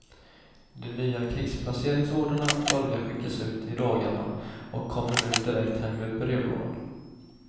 De nya krigsplaceringsorderna börjar skickas ut i dagarna och kommer nu direkt hem i brevlådan.